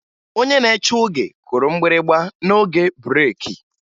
Onye na-eche oge kụrụ mgbịrịgba n'oge breeki